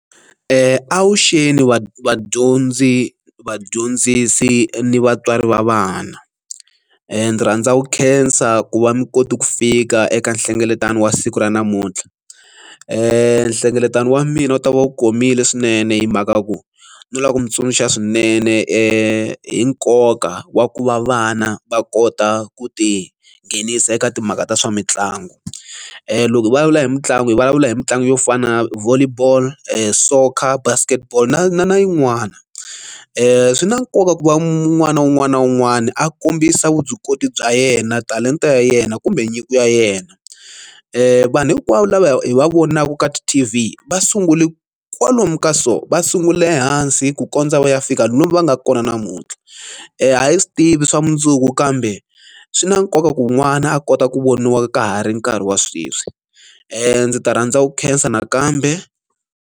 Avuxeni vadyondzi vadyondzisi ni vatswari va vana ndzi rhandza ku khensa ku va mi koti ku fika eka nhlengeletano wa siku ra namuntlha nhlengeletano wa mina wu ta va wu komile swinene hi mhaka ya ku no lava ku mi tsundzuxa swinene hi nkoka wa ku va vana va kota ku ti nghenisa eka timhaka ta swa mitlangu loko hi vulavula hi mitlangu hi vulavula hi mitlangu yo fana na volley ball soccer basket ball na na na yin'wana i swi na nkoka ku va un'wana na un'wana na un'wana a kombisa vuswikoti bya yena talenta ya yena kumbe nyiko ya yena vanhu hinkwavo lava hi va vonaka ka ti t v va sungule kwalomu ka so va sungule ehansi ku kondza va ya fika lomu va nga kona namuntlha a hi swi tivi swa mundzuku kambe swi na nkoka ku n'wana a kota ku voniwa ka ha ri nkarhi wa sweswi ndzi ta rhandza ku khensa nakambe.